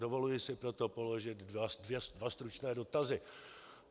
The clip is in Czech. Dovoluji si proto položit dva stručné dotazy.